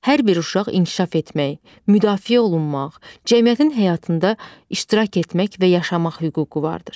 Hər bir uşaq inkişaf etmək, müdafiə olunmaq, cəmiyyətin həyatında iştirak etmək və yaşamaq hüququ vardır.